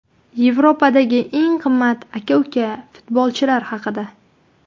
Yevropadagi eng qimmat aka-uka futbolchilar haqida.